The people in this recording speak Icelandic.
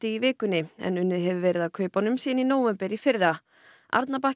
í vikunni en unnið hefur verið að kaupunum síðan í nóvember í fyrra